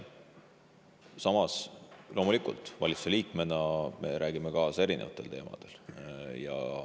Samas, loomulikult, valitsuse liikmetena me räägime kaasa erinevatel teemadel.